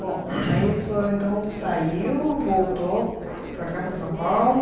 Bom, aí o senhor então saiu, voltou para cá, para São Paulo.